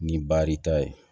Ni baar i ta ye